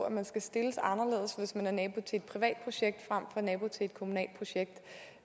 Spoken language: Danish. at man skal stilles anderledes hvis man er nabo til et privat projekt frem for nabo til et kommunalt projekt